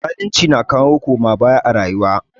Zalunci na kawo koma baya a rayuwa.